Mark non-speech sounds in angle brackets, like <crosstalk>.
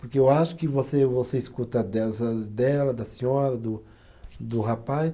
Porque eu acho que você você escuta delas, <unintelligible> dela da senhora do, do rapaz.